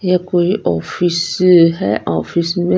या कोई ऑफिस है ऑफिस में।